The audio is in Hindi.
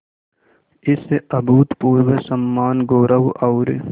इस अभूतपूर्व सम्मानगौरव और